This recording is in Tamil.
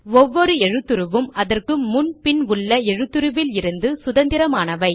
ஒவ்வொரு எழுத்துருவும் அதற்கு முன் பின் உள்ள எழுத்துருவில் இருந்து சுதந்திரமானது